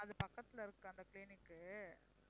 அது பக்கத்துல இருக்கு அந்த clinic உ